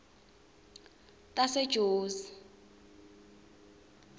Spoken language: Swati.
tasejozi